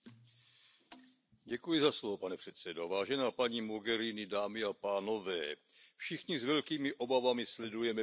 Pane předsedající, vážená paní Mogheriniová, dámy a pánové, všichni s velkými obavami sledujeme vyhrocenou situaci v Libyi.